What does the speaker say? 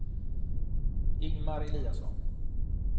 Ingemar Eliasson